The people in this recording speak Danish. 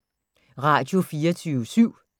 Radio24syv